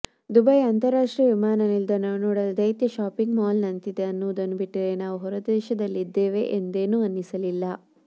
Dubai ಅಂತಾರಾಷ್ಟ್ರೀಯ ವಿಮಾನನಿಲ್ದಾಣವು ನೋಡಲು ದೈತ್ಯ ಶಾಪಿಂಗ್ ಮಾಲ್ ನಂತಿದೆ ಅನ್ನುವುದನ್ನು ಬಿಟ್ಟರೆ ನಾವು ಹೊರದೇಶದಲ್ಲಿದ್ದೇವೆ ಎಂದೇನೂ ಅನ್ನಿಸಲಿಲ್ಲ